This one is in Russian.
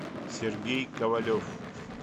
сергей ковалев